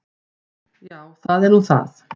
Já, það er nú það.